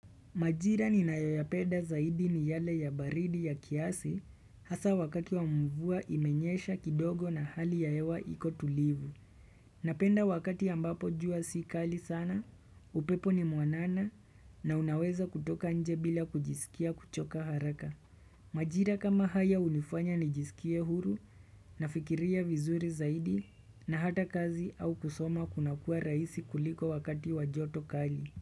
Majira ni nayoyapenda zaidi ni yale ya baridi ya kiasi haswa wakati wa mvua imenyesha kidogo na hali ya hewa iko tulivu. Napenda wakati ambapo jua sikali sana, upepo ni muanana na unaweza kutoka nje bila kujisikia kuchoka haraka. Majira kama haya hunifanya nijisikie huru nafikiria vizuri zaidi na hata kazi au kusoma kunakua rahisi kuliko wakati wabjoto kali.